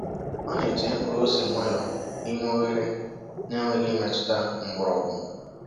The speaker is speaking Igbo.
Ọ na-etinye mkpụrụ ose nwayọọ n’ime oghere na-enweghị imetụta mgbọrọgwụ.